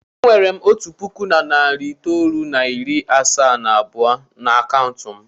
E nwere m otu puku na narị itoolu na iri asaa na abụọ n'akaụntụ m.